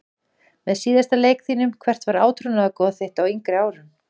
Með síðasta leik þínum Hvert var átrúnaðargoð þitt á yngri árum?